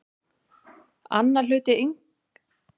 Annar hluti litningaparsins er kominn frá föður en hinn frá móður.